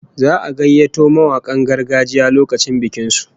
Za'a gayyato mawakan gargajiya lokacin bikin su